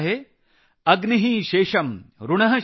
अग्नि शेषम् ऋण शेषम्